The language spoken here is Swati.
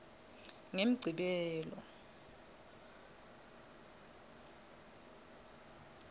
ngemgcibelo